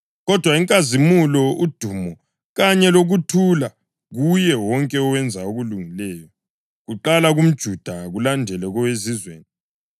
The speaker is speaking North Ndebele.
kodwa inkazimulo, udumo kanye lokuthula kuye wonke owenza okulungileyo, kuqala kumJuda kulandele koweZizweni.